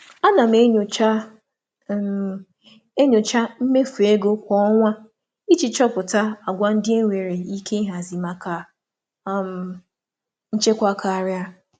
Ana m enyocha m enyocha mmefu ego kwa ọnwa iji chọpụta àgwà ndị enwere ike ịhazi maka um nchekwa karịa.